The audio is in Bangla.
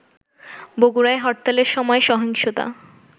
বগুড়ায় হরতালের সময় সহিংসতা